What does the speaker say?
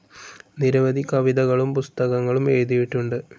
നിരവധി കവിതകളും പുസ്തകങ്ങളും എഴുതിയിട്ടുണ്ട്.